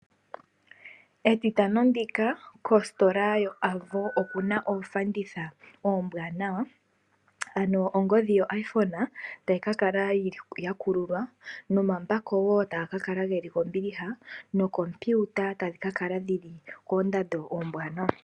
Etitano ndika kositola yo Avo okuna ofanditha ombwaanawa. Ano ongodhi yo iPhone tayi ka kala ya kululwa nomambako woo taga kala geli kombiliha nookompiuta tadhi ka kala dhili koondando oombwanawa.